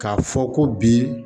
K'a fɔ ko bi